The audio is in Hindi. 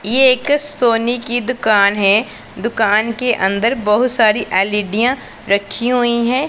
ये एक सोने की दुकान है दुकान के अंदर बहुत सारी एलईडीयां रखी हुई हैं।